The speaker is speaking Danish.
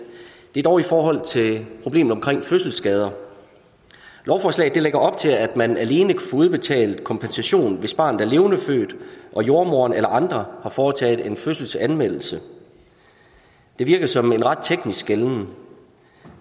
er dog i forhold til problemet omkring fødselsskader lovforslaget lægger op til at man alene kan få udbetalt kompensation hvis barnet er levendefødt og jordemoderen eller andre har foretaget en fødselsanmeldelse det virker som en ret teknisk skelnen